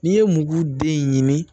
N'i ye muru den ɲini